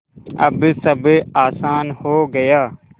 अब सब आसान हो गया